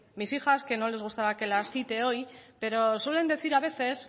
mis hijas que no les gustara que las cite hoy pero suelen decir a veces